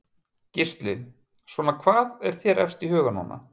Gísli: Svona hvað er þér efst í huga núna?